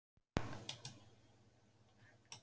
Fréttamaður: Erum við að tala um utanríkismál?